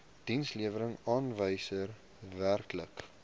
dienslewerings aanwysers werklike